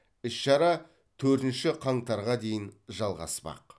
іс шара төртінші қаңтарға дейін жалғаспақ